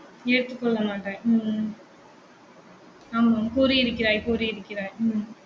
ஏற்றுக்கொள்ள மாட்டாய் உம் உம் ஆமாம் கூறியிருக்கிறாய் கூறியிருக்கிறாய்